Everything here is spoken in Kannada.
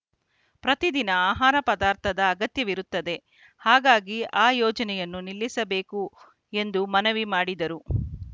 ಪ್ರತಿ ದಿನ ಆಹಾರ ಪದಾರ್ಥದ ಅಗತ್ಯವಿರುತ್ತದೆ ಹಾಗಾಗಿ ಆ ಯೋಜನೆಯನ್ನು ನಿಲ್ಲಿಸಬೇಕು ಎಂದು ಮನವಿ ಮಾಡಿದರು